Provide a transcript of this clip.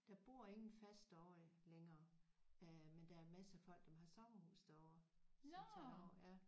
Der bor ingen fast derovre længere øh men der er maser af folk som har sommerhus derovre som tager derover ja